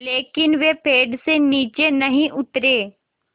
लेकिन वे पेड़ से नीचे नहीं उतरे